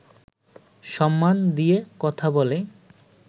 সম্মান দিয়ে কথা বলে